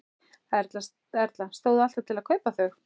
Erla: Stóð alltaf til að kaupa þau?